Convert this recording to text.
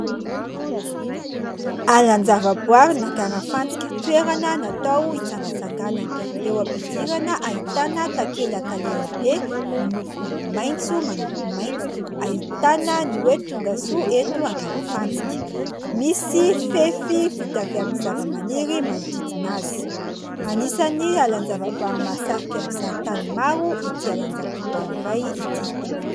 Alanjava-boary an'Ankarafantsika toerana natao hitsangatsanganana, eo am-pidirana ahitana takelaka lehibe miloko maintso manompo mainty ahitana ny hoe "tongasoa eto Ankarafantsika"misy fefy vita avy amin'ny zava-maniry manodidina azy, anisany alanjava-boary mahasahika mpizahatany maro ity alanjava-boary iray ity.